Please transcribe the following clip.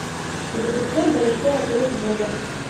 запускай большой отрыв боба